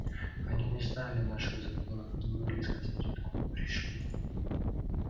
они не знали наших законов и не могли сказать откуда пришли